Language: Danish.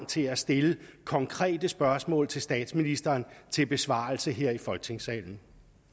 til at stille konkrete spørgsmål til statsministeren til besvarelse her i folketingssalen